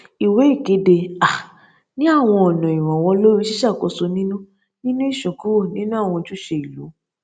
ìwé ìkéde um ní àwọn ọnà ìrànwọ lórí ṣíṣàkóso nínú nínú ìsúnkúrò nínú àwọn ojúṣe ìlú